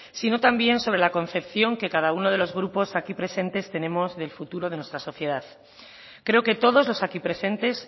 sino también sobre la concepción que cada uno de los grupos aquí presentes tenemos del futuro de nuestra sociedad creo que todos los aquí presentes